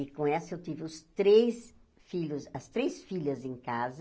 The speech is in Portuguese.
E com essa eu tive os três filhos, as três filhas em casa.